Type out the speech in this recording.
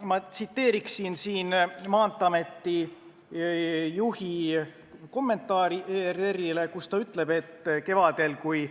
Ma tsiteeriksin Maanteeameti juhi ERR-ile antud kommentaari, milles ta ütleb, et kevadel, kui